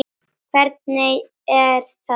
Hvernig, er það rétt?